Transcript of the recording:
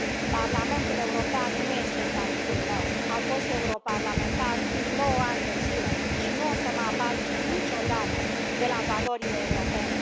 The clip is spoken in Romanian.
Parlamentul European nu este inamicul meu, am fost europarlamentar nouă ani de zile și nu o să mă abat niciodată de la valorile europene.